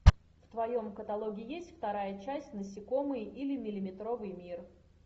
в твоем каталоге есть вторая часть насекомые или миллиметровый мир